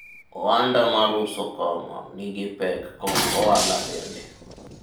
ohanda mar uso kong'o nigi pek kod ohala bende